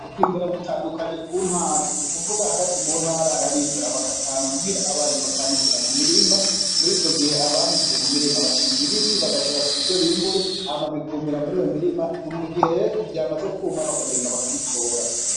Kwimbura gutandukanye ku ntara. Nukuvuga hagati mu ntara hariho abimbura bakabitahana muhira ,abandi bakanikira mu mirima .Mur'ico gihe abanikiye mu murima bashinga ibiti bagashirako ivyo bimbuye hama bikumira mu mirima, mugihe rero vyamaze kwuma bakagenda bakabitora.